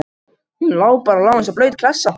Hann lá bara og lá eins og blaut klessa.